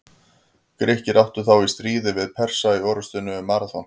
Grikkir áttu þá í stríði við Persa í orrustunni um Maraþon.